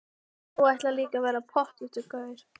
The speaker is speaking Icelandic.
Þú ætlar líka að verða pottþéttur gaur.